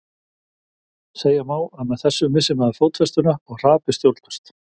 Tóbý, hvað er að frétta?